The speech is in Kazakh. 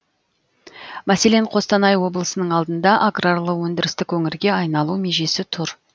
мәселен қостанай облысының алдында аграрлы өндірістік өңірге айналу межесі тұр